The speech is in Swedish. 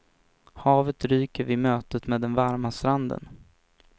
Havet ryker vid mötet med den varma stranden.